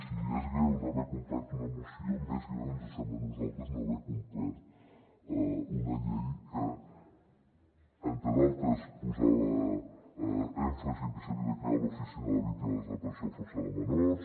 si és greu no haver complert una moció més greu ens sembla a nosaltres no haver complert una llei que entre d’altres posava èmfasi en que s’havia de crear l’oficina de la víctima de la desaparició forçada de menors